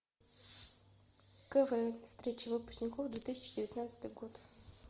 квн встреча выпускников две тысячи девятнадцатый год